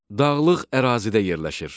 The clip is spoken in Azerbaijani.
Dağlıq ərazidə yerləşir.